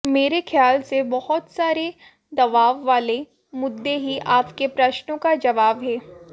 मेरे ख्याल से बहुत सारे दबाव वाले मुद्दे ही आपके प्रश्नों का जवाब हैं